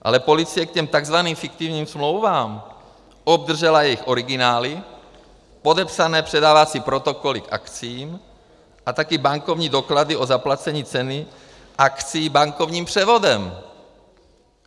Ale policie k těm takzvaným fiktivním smlouvám obdržela jejich originály, podepsané předávací protokoly k akciím a taky bankovní doklady o zaplacení ceny akcií bankovním převodem.